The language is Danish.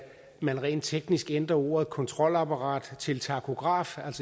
man rent teknisk ændrer ordet kontralapparat til takograf